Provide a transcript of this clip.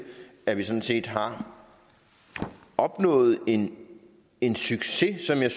at vi sådan set har opnået en en succes som jeg